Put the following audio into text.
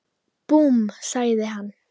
Búmm! sagði hann.